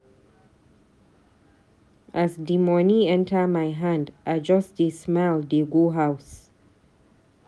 As di moni enta my hand, I just dey smile dey go house.